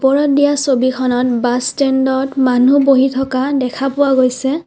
ওপৰত দিয়া ছবিখনত বাছ ষ্টেণ্ডত মানুহ বহি থকা দেখা পোৱা গৈছে।